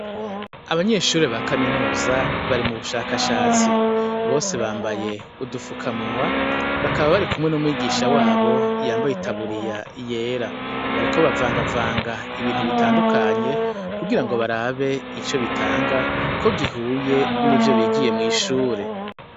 Abanyeshure ba kaminuza bari mu bushakashatsi. Bose bambaye udufukamunwa, bakaba bari kumwe n'umwigisha wabo yambaye itaburiya yera. Bariko bavangavanga ibintu bitandukanye kugira ngo barabe ico bitanga ko gihuye n'ivyo bigiye mw'ishure.